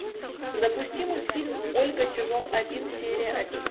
запусти мультфильм ольга сезон один серия один